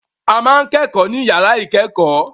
A ma ń kẹ́kọ̀ọ́ ní yàrá ìkẹ́kọ̀ọ́.